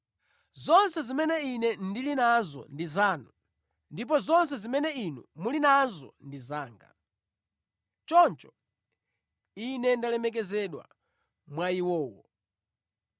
Zonse zimene Ine ndili nazo ndi zanu, ndipo zonse zimene Inu muli nazo ndi zanga. Choncho Ine ndalemekezedwa mwa iwowo.